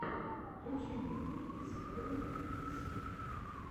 включи мне куки сверл си